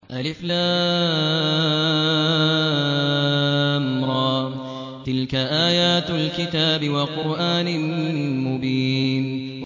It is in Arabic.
الر ۚ تِلْكَ آيَاتُ الْكِتَابِ وَقُرْآنٍ مُّبِينٍ